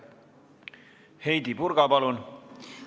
Heidy Purga, palun!